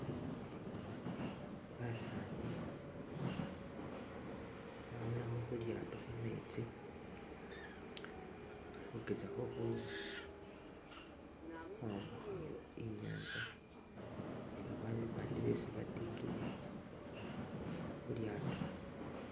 Basani bawolelakho khulyaato khumetsi bali khugezako khwambuka inyanza ni babandu bandi besi batikile khulyaato.